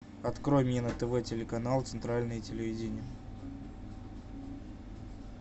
открой мне на тв телеканал центральное телевидение